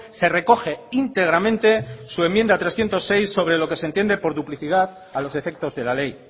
se recoge íntegramente su enmienda trescientos seis sobre lo que se entiende por duplicidad a los efectos de la ley